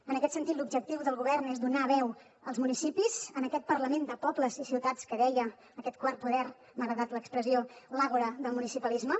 en aquest sentit l’objectiu del govern és donar veu als municipis en aquest parlament de pobles i ciutats que deia aquest quart poder m’ha agradat l’expressió l’àgora del municipalisme